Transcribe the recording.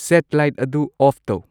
sad light ꯑꯗꯨ off ꯇꯧ